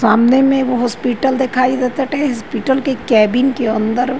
सामने में एगो हॉस्पिटल दिखाई दे ताटे। हॉस्पिटल के केबिन के अंदर --